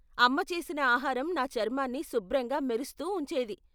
అమ్మ చేసిన ఆహారం నా చర్మాన్ని శుభ్రంగా మెరుస్తూ ఉంచేది.